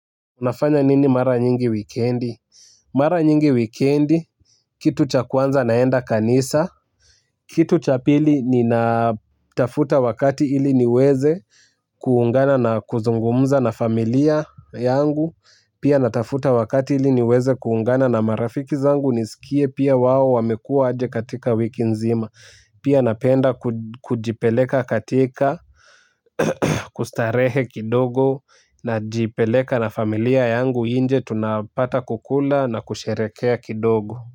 Unafanya nini mara nyingi wikendi? Mara nyingi wikendi, kitu cha kwanza naenda kanisa. Kitu cha pili ninatafuta wakati ili niweze kuungana na kuzungumuza na familia yangu. Pia natafuta wakati ili niweze kuungana na marafiki zangu niskie pia wao wamekuwa aje katika wiki nzima. Pia napenda kujipeleka katika kustarehe kidogo najipeleka na familia yangu inje tunapata kukula na kusherekea kidogo.